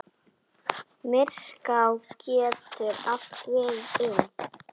Myrká getur átt við um